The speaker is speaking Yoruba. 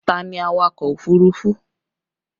Ta ni awakọ̀ òfurufú?